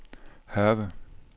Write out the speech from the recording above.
Hørve